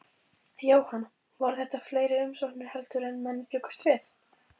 Jóhann, voru þetta fleiri umsóknir heldur en menn bjuggust við?